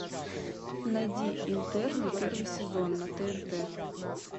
найди интерны первый сезон на тнт